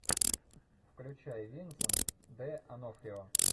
включай винсент де онофрио